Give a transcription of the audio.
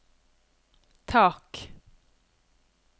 tak